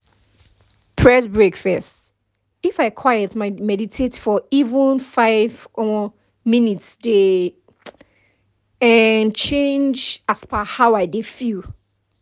press break first —if i quiet my meditate for even five um minutes dey um change as per how i dey feel inside